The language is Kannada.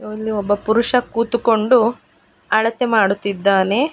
ಇಲ್ಲಿ ಒಬ್ಬ ಪುರುಷ ಕೂತುಕೊಂಡು ಅಳತೆ ಮಾಡುತ್ತಿದ್ದಾನೆ.